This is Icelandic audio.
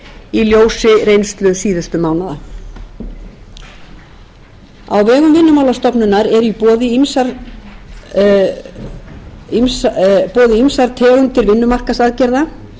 í ljósi reynslu síðustu mánaða á vegum vinnumálastofnunar eru í boði ýmsar tegundir vinnumarkaðsaðgerða þeir sem eru án vinnu eiga kost á að